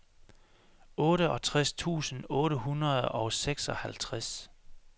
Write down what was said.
otteogtres tusind otte hundrede og seksoghalvtreds